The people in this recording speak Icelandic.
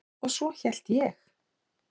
Svo hélt ég.